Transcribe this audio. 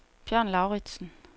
Bjørn Lauritsen